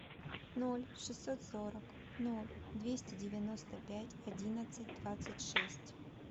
ноль шестьсот сорок ноль двести девяносто пять одиннадцать двадцать шесть